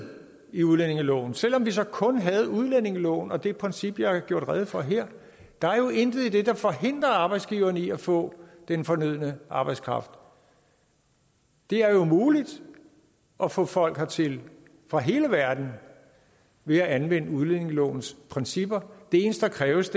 i udlændingeloven selv om vi så kun havde udlændingeloven og det princip jeg har gjort rede for her der forhindrer arbejdsgiverne i at få den fornødne arbejdskraft det er jo muligt at få folk hertil fra hele verden ved at anvende udlændingelovens principper det eneste der kræves